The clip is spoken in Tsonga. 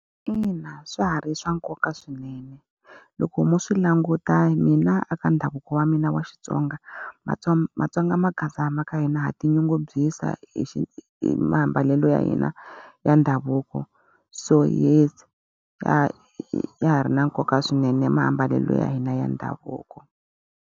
Ina swa ha ri swa nkoka swinene. Loko mo swi languta hi mina a ka ndhavuko wa mina wa Xitsonga maTsonga magaza ma ka hina ha tinyungubyisa hi hi mambalelo ya hina ya ndhavuko. So yes ya ya ha ri na nkoka swinene mambalelo ya hina ya ndhavuko.